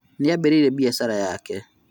Nĩambĩrĩirie biacara yake rĩu